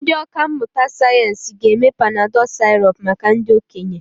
Ndị ọkà mmụta sayensị ga-eme Panadol sirop maka ndị okenye.